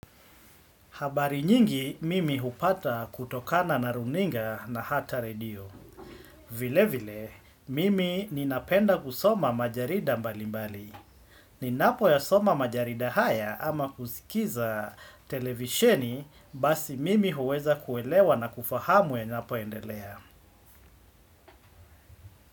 Habari nyingi mimi hupata kutokana na runinga na hata redio. Vile vile mimi ninapenda kusoma majarida mbali mbali. Ninapo yasoma majarida haya ama kusikiza televisheni basi mimi huweza kuelewa na kufahamu yanapo endelea.